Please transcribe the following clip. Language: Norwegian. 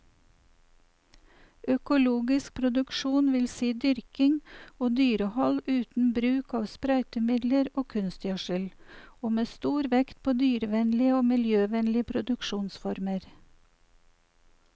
Økologisk produksjon vil si dyrking og dyrehold uten bruk av sprøytemidler og kunstgjødsel, og med stor vekt på dyrevennlige og miljøvennlige produksjonsformer.